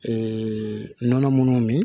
nɔnɔ minnu min